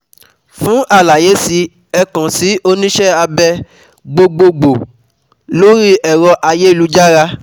Fún àlàyé sí ẹ kàn sí oníṣẹ́ abẹ gbogboogbò um lórí ẹ̀rọ ayélujára